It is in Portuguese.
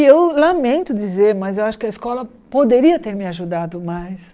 E eu lamento dizer, mas eu acho que a escola poderia ter me ajudado mais.